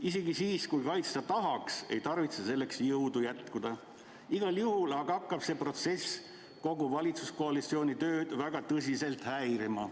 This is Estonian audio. Isegi siis, kui kaitsta tahaks, ei tarvitse selleks jõudu jätkuda, igal juhul aga hakkab see protsess kogu valitsuskoalitsiooni tööd tõsiselt häirima.